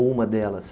Ou uma delas?